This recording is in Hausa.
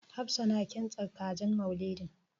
Hafsa tana kintsa kajin Maulidin.